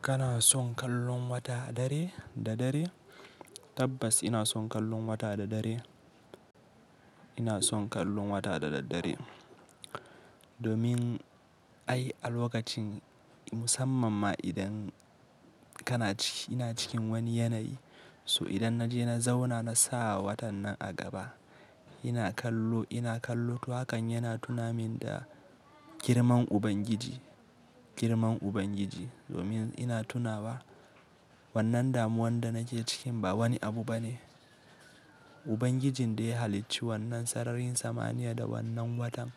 Kana son kallon wata dare da dare? Tabbas ina son kallon wata da dare. Ina son kallon wata da daddare. Domin ai a lokacin musamman ma idan kana ciki--, ina cikin wani yanayi. So idan naje na zauna na sa watan nan a gaba, ina kallo, --ina kallo to hakan yana tuna min da girman Ubangiji,-- girman Ubangiji. Domin ina tunawa wannan damuwan da nake cikin ba wani abu bane. Ubangijin da ya halicci wannan sararin samaniya da wannan watan,